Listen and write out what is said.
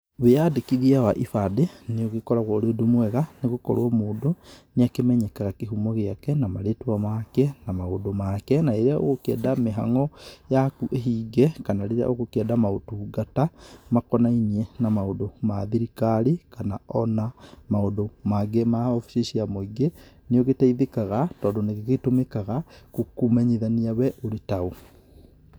Wĩyandĩkithia wa ibandĩ, nĩ ũgĩkoragũo ũrĩ ũndũ mũega, nĩgũkorũo o mũndũ, nĩ akĩmenyekaga kĩhumo gĩake, na marĩtwa make, na maũndũ make. Na rĩrĩa ũgũkienda mĩhango yaku ĩhinge, kana rĩrĩa ũgũkĩenda maũtungata, makonainie na maũndũ ma thirikari, kana ona maũndũ mangĩ ma obici cia mũingĩ, nĩũgĩteithĩkaga, tondũ nĩ gĩgĩtũmĩkaga kũmenyithania wee ũrĩ taũ.